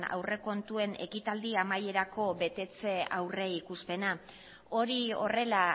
aurrekontuen ekitaldi amaierako betetze aurrikuspena hori horrela